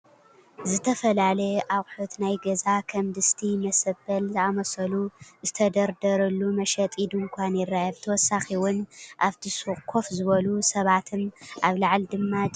ዝተፈላለዩ ኣቁሑት ናይ ገዛ ከም ድስቲ፣ መሰበን ዝኣመሰሉ ዝተደርደርሉ መሸጢ ድንካን ይርአ::ብተወሳኺ እውን ኣብቲ ሱቅ ኮፍ ዝበሉ ሰባትን ኣብ ላዕሊ ድማ ጀርካናትን ኣለው